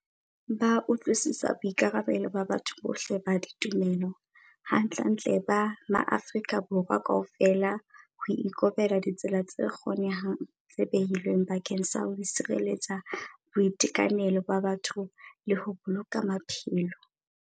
Ba utlwisisa boikarabelo ba batho bohle ba ditumelo - hantlentle ba maAfrika Borwa kaofela - ho ikobela ditsela tse kgonehang tse behilweng bakeng sa ho sireletsa boitekanelo ba batho le ho boloka maphelo.